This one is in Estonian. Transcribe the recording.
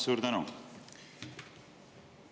Suur tänu!